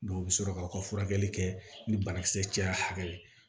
Dɔw bɛ sɔrɔ k'aw ka furakɛli kɛ ni banakisɛ caya hakɛ ye